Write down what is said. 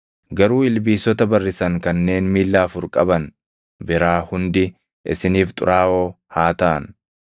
Garuu ilbiisota barrisan kanneen miilla afur qaban biraa hundi isiniif xuraaʼoo haa taʼan.